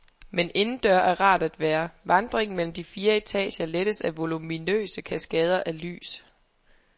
Men indendøre er rart at være, vandringen mellem de fire etager lettes af voluminøse kaskader af lys.